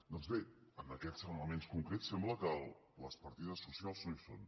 doncs bé en aquests elements concrets sembla que les partides socials no hi són